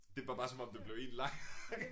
Det var bare som om det blev en lang